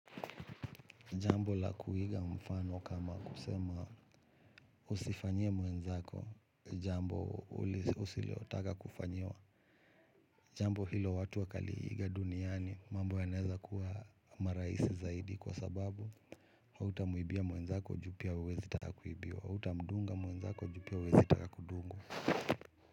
Jambo la kuiga mfano kama kusema usifanyie mwenzako jambo usilotaka kufanyiwa. Jambo hilo watu wakaliiga duniani mambo yanaweza kuwa marahisi zaidi kwa sababu hautamwibia mwenzako juu pia huwezi taka kuibiwa, hautamdunga mwenzako juu pia huwezi taka kudungwa.